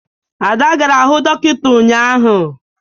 Ada gara hụ dọkịta ụnyaahụ.